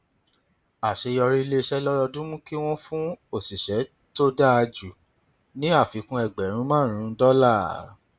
àṣeyọrí ilé iṣẹ lọdọọdún mú kí wọn fún òṣìṣẹ tó dáa jù ní àfikún ẹgbẹrún márùnún dọlà